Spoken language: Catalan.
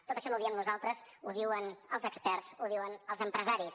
tot això no ho diem nosaltres ho diuen els experts ho diuen els empresaris